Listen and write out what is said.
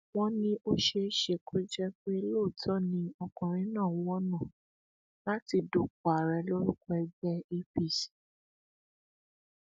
wọn ní ó ṣeé ṣe kó jẹ pé lóòótọ ni ọkùnrin náà ń wọnà láti dupò ààrẹ lórúkọ ẹgbẹ apc